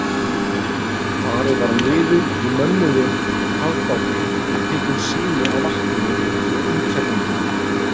Farið var niður í mönnuðum kafbáti og tekin sýni af vatninu og útfellingunum.